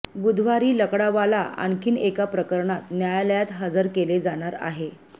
बुधवारी लकडावाला आणखी एका प्रकरणात न्यायालयात हजर केले जाणार आहे